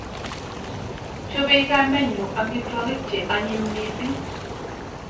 Chopei kamenyu amitwogik che anyiny mising